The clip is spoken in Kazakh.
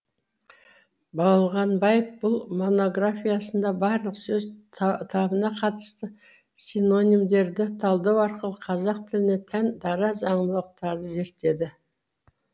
болғанбаев бұл монографиясында барлық сөз табына қатысты синонимдерді талдау арқылы қазақ тіліне тән дара заңдылықтарды зерттеді